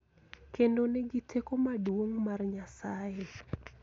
Kendo nigi teko maduong� mar Nyasaye.